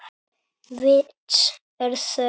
Vits er þörf